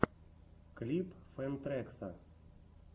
клип фэн трэкса